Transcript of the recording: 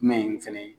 Jumɛn in fɛnɛ